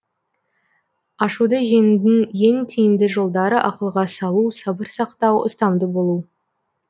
ашуды жеңудің ең тиімді жолдары ақылға салу сабыр сақтау ұстамды болу